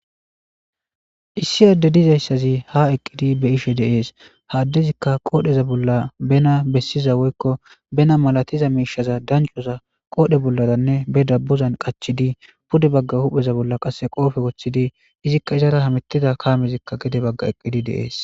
Issi adde dizayssazi ha eqqidi be ishe deees haaddezikka qoodheza bolla bena bessiza woykko bena malatiza miishaza dancoza qoodhe bolladanne be dabbuzan qachidi pude bagga hupheza bolla qasse qoofe woththidi izikka izara hamettida kaamezikka gede bagga eqqidi dees.